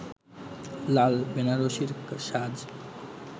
লাল বেনারসির সাজ